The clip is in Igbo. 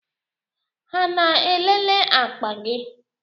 Ha na-elele akpa gị?